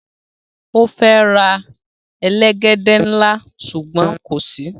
O fe ra elegede nla sugbon ko si